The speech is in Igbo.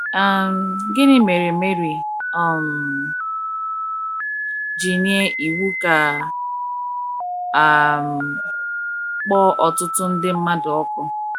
um Gịnị mere Mary um ji nye iwu ka a um kpọọ ọtụtụ ndị mmadụ ọkụ?